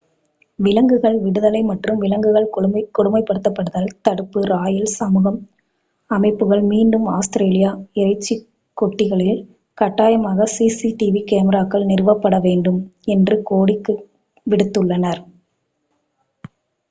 விலங்குகள் விடுதலை மற்றும் விலங்குகள் கொடுமைப்படுத்தல் தடுப்பு ராயல் சமூகம் அமைப்புகள் மீண்டும் ஆஸ்திரேலியா இறைச்சிக் கொட்டில்களில் கட்டாயமாக சிசிடிவி கேமராக்கள் நிறுவப்பட வேண்டும் என்று கோரிக்கை விடுத்துள்ளனர்